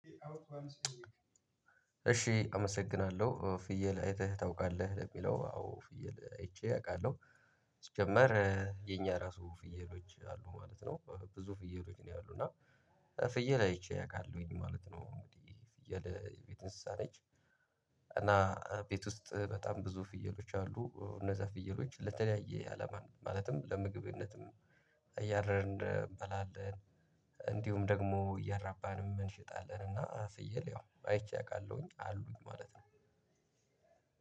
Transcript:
እሺ አመሰግናለሁ ፍየል አይተህ? ታውቃለህ ለሚለው ፍየል አይቼ አውቃለሁ። ሲጀመር የኛ ራሱ ፍየሎች አሉ ማለት ነው። ብዙ ፍየሎች ነው ያሉት እና። እና ፍየል አይቼ አውቃለሁኝ ማለት ነው። እንግዲህ ፍየለ የቤት እንስሳ ነች። እና ቤት ውስጥ በጣም ብዙ ፍየሎች አሉ። እነዛ ፍየሎች ለተለያየ አለማ ማለትም ለምግብነትም እያረድን እንበላለን፤ እንዲሁም ደግሞ እያራባን እንሽጣለን። እና ፍየል ያው አይቼ አውቃለሁኝ አሉኝ ማለት ነው።